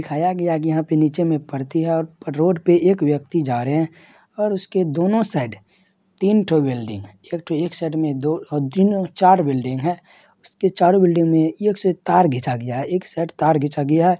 दिखाया गया की यहां पे नीचे में पर्ति है और रोड पे एक व्यक्ति जा रहे है और उसके दोनों साइड तीन ठो बिल्डिंग एक ठो एक एक साइड में दो तीन चार बिल्डिंग है उसके चारो बिल्डिंग में तार खिंचा गया है एक साइड तार खींचा गया है।